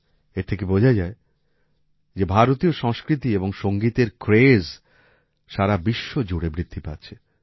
এর থেকে বোঝা যায় যে ভারতীয় সংস্কৃতি এবং সংগীতের ক্রেজ সারা বিশ্ব জুড়ে বৃদ্ধি পাচ্ছে